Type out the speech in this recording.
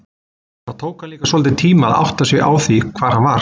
Það tók hann líka svolítinn tíma að átta sig á því hvar hann var.